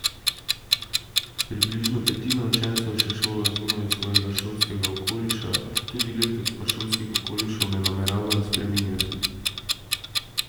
Približno petina učencev se šola zunaj svojega šolskega okoliša, tudi letos pa šolskih okolišev ne nameravajo spreminjati.